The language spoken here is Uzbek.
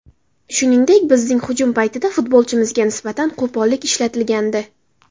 Shuningdek, bizning hujum paytida futbolchimizga nisbatan qo‘pollik ishlatilgandi.